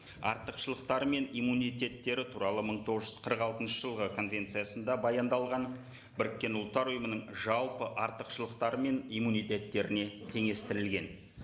артықшылықтары мен иммунитеттері туралы мың тоғыз жүз қырық алтыншы жылғы конвенциясында баяндалған біріккен ұлттар ұйымының жалпы артықшылықтары мен иммунитеттеріне теңестірілген